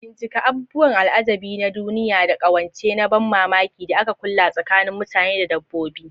Bincika abubuwan al'ajabi na duniya da ƙawance na ban mamaki da aka kulla tsakanin mutane da dabbobi.